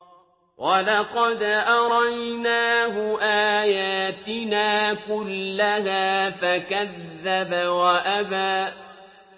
وَلَقَدْ أَرَيْنَاهُ آيَاتِنَا كُلَّهَا فَكَذَّبَ وَأَبَىٰ